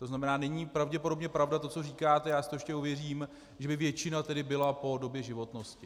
To znamená, není pravděpodobně pravda to, co říkáte, já si to ještě ověřím, že by většina tedy byla po době životnosti.